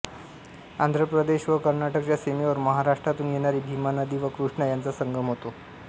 आंध्र प्रदेश व कर्नाटकच्या सीमेवर महाराष्ट्रातून येणारी भीमा नदी व कृष्णा यांचा संगम होतो